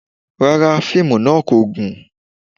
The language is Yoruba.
Rárá, fíìmù náà kò gùn